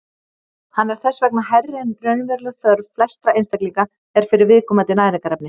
Hann er þess vegna hærri en raunveruleg þörf flestra einstaklinga er fyrir viðkomandi næringarefni.